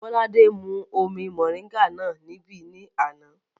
Bọ́ládé mú omi mọ̀ríńgà náà níbí ní àná